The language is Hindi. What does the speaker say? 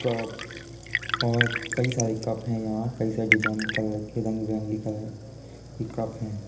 का और कई सारे कप हैं। यहाँ कई सारे डिज़ाइन के कलर रंग-बिरंगे कलर के कप हैं।